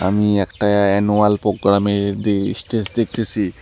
আমি একটা অ্যানুয়াল প্রোগ্রামের দে স্টেজ দেখতেসি।